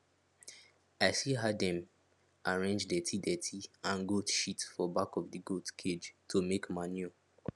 i see how dem arrange dirtydirty and goat sheet for back of the goat cage to make manure